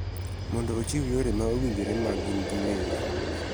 Mondo ochiw yore ma owinjore mag gin giwegi.